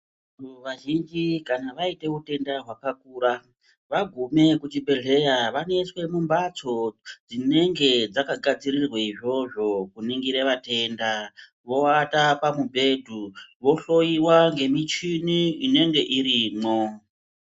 Vantu vazhinji kana vaite utenda hwakakura vaga kuchibhedhleya vanoiswa mumhatso dzinenge dzakagadzirirwa izvozvo kuningirwa utenda voata pamubhedha vaihloyiwa ngemuchini inenge irimwo.